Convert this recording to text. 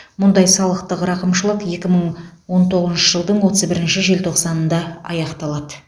мұндай салықтық рақымшылық екі мың он тоғызыншы жылдың отыз бірінші желтоқсанында аяқталады